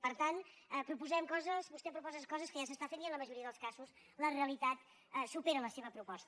per tant vostè proposa coses que ja s’estan fent i en la majoria dels casos la realitat supera la seva proposta